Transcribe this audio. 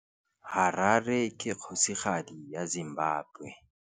Harare ke kgosigadi ya Zimbabwe.